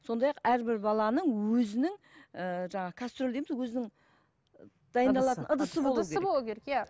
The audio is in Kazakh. сондай ақ әрбір баланың өзінің ііі жаңағы кастрюль дейміз ғой өзінің дайындалатын ыдысы болуы керек иә